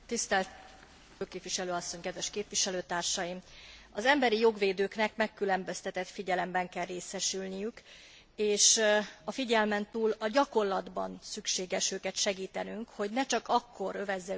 Az emberijog védőknek megkülönböztetett figyelemben kell részesülniük és a figyelmen túl a gyakorlatban szükséges őket segítenünk, hogy ne csak akkor övezze őket tisztelet és figyelem, ha az már túl késő.